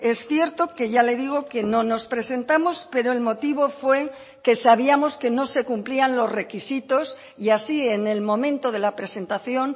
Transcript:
es cierto que ya le digo que no nos presentamos pero el motivo fue que sabíamos que no se cumplían los requisitos y así en el momento de la presentación